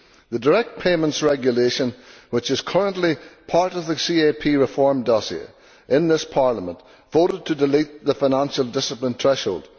On the Direct Payments Regulation which is currently part of the CAP reform dossier, this Parliament voted to delete the financial discipline threshold.